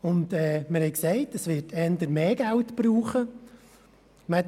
Wir haben gesagt, es werde eher mehr Geld gebraucht.